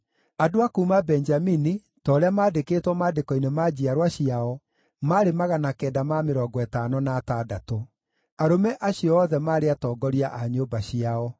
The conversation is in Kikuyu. Andũ a kuuma Benjamini, ta ũrĩa maandĩkĩtwo maandĩko-inĩ ma njiarwa ciao, maarĩ 956. Arũme acio othe maarĩ atongoria a nyũmba ciao.